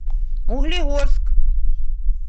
углегорск